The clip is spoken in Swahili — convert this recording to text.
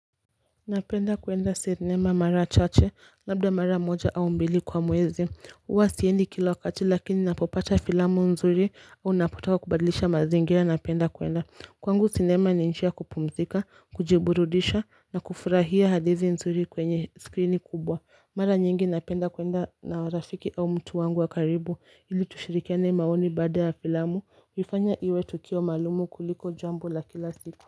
Napenda kwenda cinema mara chache labda mara moja au mbili kwa mwezi huwa siendi kila wakati lakini napopata filamu nzuri au ninapotaka kubadlisha mazingira napenda kwenda Kwangu cinema ni njia ya kupumzika kujiburudisha na kufurahia hadithi nzuri kwenye screen kubwa Mara nyingi napenda kwenda na rafiki au mtu wangu wa karibu ili tushirikiane maoni baada ya filamu kuifanya iwe tukio maalumu kuliko jambo la kila siku.